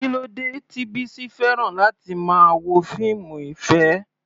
Kí ló dé tí Bisi fẹ́ràn láti máa wo fíìmù ìfẹ́?